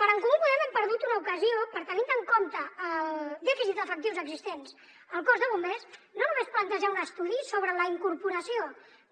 per en comú podem hem perdut una ocasió per tenint en compte el dèficit d’efectius existents al cos de bombers no només plantejar un estudi sobre la incorporació